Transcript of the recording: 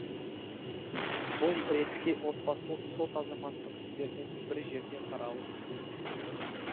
бұл ретте отбасылық сот азаматтық істердің бір жерде қаралуын көздейді